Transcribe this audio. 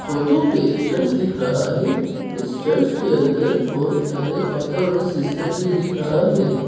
Photo पे एक church दिख रहा है इस चर्च के अंदर बहुत सारे फादर और सिस्टर भी दिख रहा है।